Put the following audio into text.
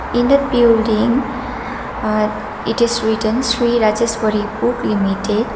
in the building uh it is written sri rajeshwari book limited.